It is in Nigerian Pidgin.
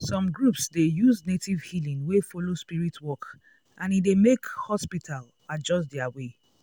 some groups dey use native healing wey follow spirit work and e dey make hospital adjust their way.